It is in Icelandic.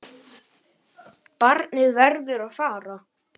Barnið verður að fara.